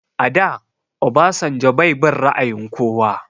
A da Obasanjo bai bin ra'ayin kowa